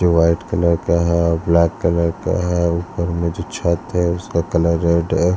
जो white colour का हैं और ब्लैक कलर का हैं ऊपर में जो छत हैं उसका कलर रेड हैं।